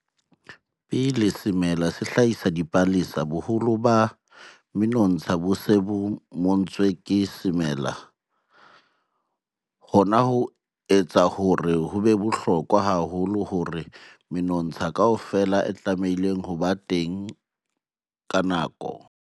Pele semela se hlahisa dipalesa, boholo ba menontsha bo se bo montswe ke semela. Hona ho etsa hore ho be bohlokwa haholo hore menontsha kaofela e tlamehile ho ba teng ka nako.